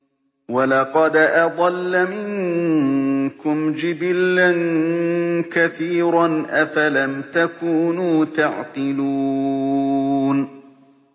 وَلَقَدْ أَضَلَّ مِنكُمْ جِبِلًّا كَثِيرًا ۖ أَفَلَمْ تَكُونُوا تَعْقِلُونَ